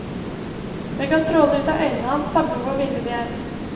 Det kan stråle ut av øynene hans, samme hvor ville de er.